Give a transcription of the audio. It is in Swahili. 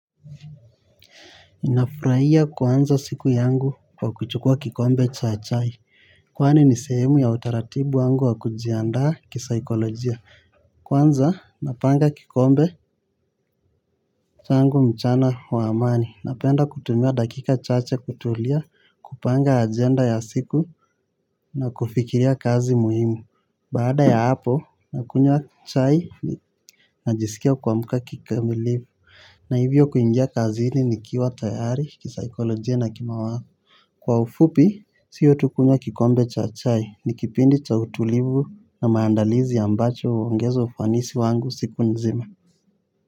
Ninafurahia kuanza siku yangu wa kuchukua kikombe cha chai. Kwani ni sehemu ya utaratibu wangu wa kujiandaa kisaikolojia. Kwanza napanga kikombe changu mchana wa amani. Napenda kutumia dakika chache kutulia kupanga agenda ya siku na kufikiria kazi muhimu. Baada ya hapo nakunywa chai najiskia kuamka kikamilifu. Na hivyo kuingia kazini nikiwa tayari, kisaikolojia na ki mawazo. Kwa ufupi, sio tu kunywa kikombe cha chai, ni kipindi cha utulivu na maandalizi ambacho huongeza ufanisi wangu siku nzima.